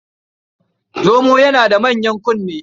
Zomo yana da manyan kunne.